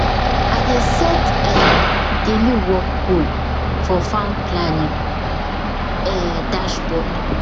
i dey set um daily work goal for farm planning um dashboard